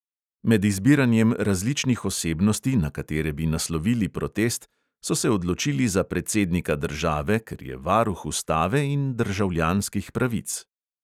Med izbiranjem različnih osebnosti, na katere bi naslovili protest, so se odločili za predsednika države, ker je varuh ustave in državljanskih pravic.